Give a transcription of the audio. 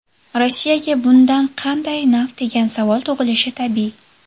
Rossiyaga bundan qanday naf degan savol tug‘ilishi tabiiy.